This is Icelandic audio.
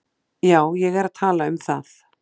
Já, ég er að tala um það.